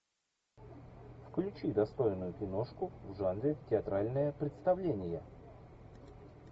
включи достойную киношку в жанре театральное представление